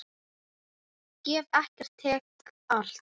Ég gef ekkert, tek allt.